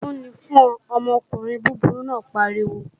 Ègún ni fún ọ, ọkùnrin búburú náà pariwo!